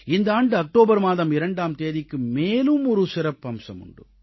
இந்த ஆண்டு அக்டோபர் மாதம் 2ஆம் தேதிக்கு மேலும் ஒரு சிறப்பம்சம் உண்டு